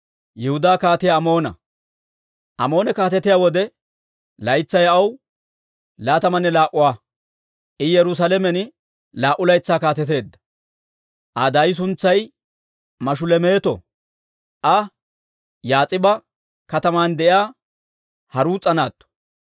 Amoone kaatetiyaa wode, laytsay aw laatamanne laa"aa; I Yerusaalamen laa"u laytsaa kaateteedda. Aa daay suntsay Mashulemeeto; iza Yaas'iba kataman de'iyaa Haruus'a naatto.